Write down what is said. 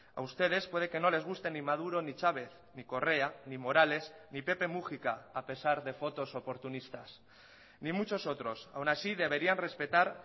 a ustedes puede que no les guste ni maduro ni chávez ni correa ni morales ni pepe múgica a pesar de fotos oportunistas ni muchos otros aun así deberían respetar